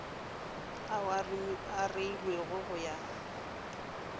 ao a reilwego go ya